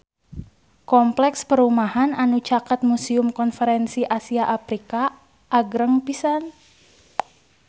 Kompleks perumahan anu caket Museum Konferensi Asia Afrika agreng pisan